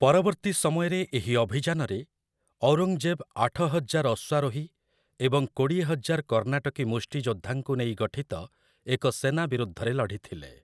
ପରବର୍ତ୍ତୀ ସମୟରେ ଏହି ଅଭିଯାନରେ, ଔରଙ୍ଗଜେବ୍ ଆଠହଜାର ଅଶ୍ଵାରୋହୀ ଏବଂ କୋଡ଼ିଏହଜାର କର୍ଣ୍ଣାଟକୀ ମୁଷ୍ଟିଯୋଦ୍ଧାଙ୍କୁ ନେଇ ଗଠିତ ଏକ ସେନା ବିରୁଦ୍ଧରେ ଲଢ଼ିଥିଲେ ।